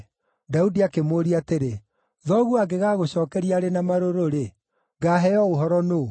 Daudi akĩmũũria atĩrĩ, “Thoguo angĩgagũcookeria arĩ na marũrũ-rĩ, ngaaheo ũhoro nũũ?”